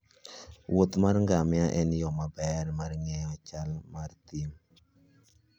wuoth mar ngamia en yo maber mar ng'eyo chal mar thim.